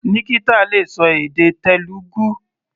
Nikita le ṣọ èdè Telugu.